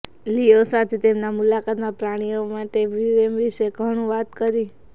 લીઓ સાથે તેમના મુલાકાતમાં પ્રાણીઓ માટે પ્રેમ વિશે ઘણું વાત કરી